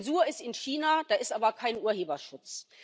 Zensur ist in China da ist aber kein Urheberschutz.